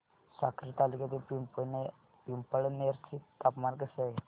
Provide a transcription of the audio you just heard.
साक्री तालुक्यातील पिंपळनेर चे तापमान कसे आहे